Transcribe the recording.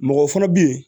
Mɔgɔ fana bɛ yen